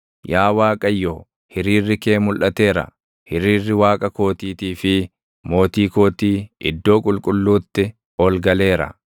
Yaa Waaqayyo, hiriirri kee mulʼateera; hiriirri Waaqa kootiitii fi mootii kootii iddoo qulqulluutti ol galeera.